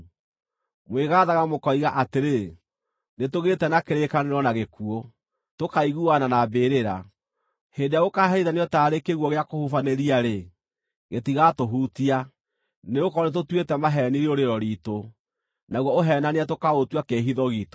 Mwĩgaathaga mũkoiga atĩrĩ, “Nĩtũgĩĩte na kĩrĩkanĩro na gĩkuũ, tũkaiguana na mbĩrĩra. Hĩndĩ ĩrĩa gũkaaherithanio taarĩ kĩguũ gĩa kũhubanĩria-rĩ, gĩtigaatũhutia, nĩgũkorwo nĩtũtuĩte maheeni rĩũrĩro riitũ, naguo ũheenania tũkaũtua kĩĩhitho giitũ.”